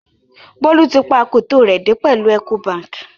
Bolu tì pa akòtó rẹ dẹ̀ pẹ̀lú Ecobankì.